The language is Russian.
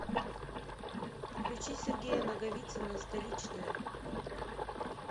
включи сергея наговицына столичная